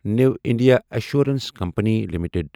new India assurance company limited